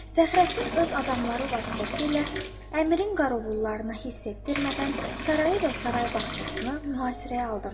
Fəxrəddin öz adamları vasitəsilə Əmirin qarovullarını hiss etdirmədən sarayı və saray bağçasını mühasirəyə aldı.